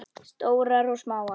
Stórar og smáar.